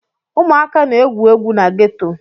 Ụmụaka na-egwu egwu na geto.